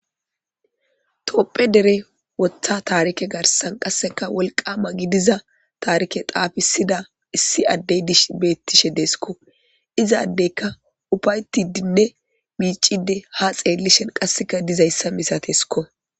toopphe dere woththa taarike garsan qasseka wolqama gidiza taarike xaafisida issi addey dishe bettishe deeskko izaaddeyka ufaytidinne miicide ha xeellishen qasseka dizayssa misatesikko